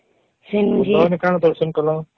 ସେଇନୁ କଅଣ କଅଣ ଦର୍ଶନ କଲା